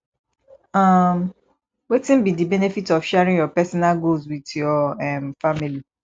um wetin be di benefit of sharing your personal goals with your um family